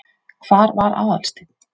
Hvar var Aðalsteinn?